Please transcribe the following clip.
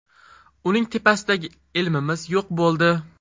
Uning tepasidagi ilmimiz yo‘q bo‘ldi.